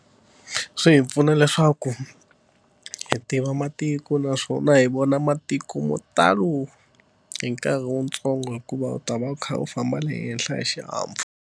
Swi hi pfuna leswaku hi tiva matiko naswona hi vona matiko mo talo hi nkarhi wutsongo hikuva u ta va u kha u famba le henhla hi xihahampfhuka.